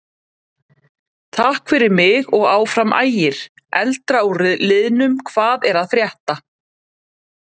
Takk fyrir mig og Áfram Ægir.Eldra úr liðnum Hvað er að frétta?